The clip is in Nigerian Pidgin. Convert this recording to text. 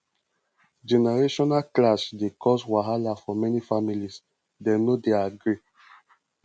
generational clash dey cause wahala for many families dem no dey agree